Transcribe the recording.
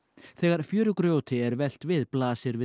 þegar fjörugrjóti er velt við blasir við